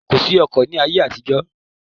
Kòsí ọkọ̀ ni ayé àtijọ́